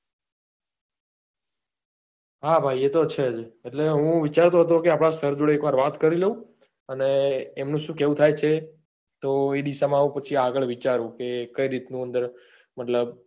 હા ભાઈ એ ટો છે જ એટલે હું વિચારતો ટો કે આપડા સર જોડે એક વાર વાત કરી લઉં અને એમનું શું કેવું થાય છે ટો એ દેશ માં હું આગળ વિચારું કે કઈ રીત નું અંદર મતલબ